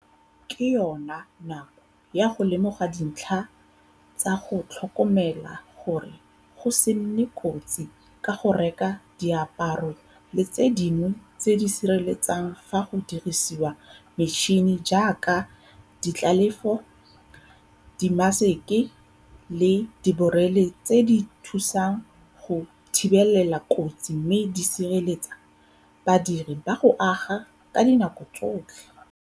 Ke yona nako ya go lemoga dintlha tsa go tlhokomela gore go se nne kotsi ka go reka diaparo le tse dingwe tse di siriletsang fa go dirisiwa metšhene jaaka ditlelafo, dimaseke le diborele tse di thusang go thibelela kotsi mme di sireletsa badiri bag ago ka dinako tsotlhe.